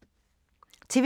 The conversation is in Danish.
TV 2